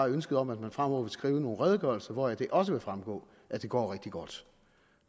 ønsket om at man fremover vil skrive nogle redegørelser hvoraf det også vil fremgå at det går rigtig godt